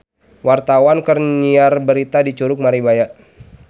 Wartawan keur nyiar berita di Curug Maribaya